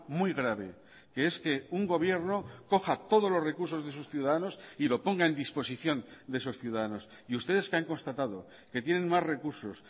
muy grave que es que un gobierno coja todos los recursos de sus ciudadanos y lo ponga en disposición de esos ciudadanos y ustedes que han constatado que tienen más recursos